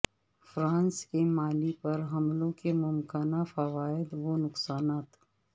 France کے Mali پر حملوں کے ممکنہ فوائد و نقصانات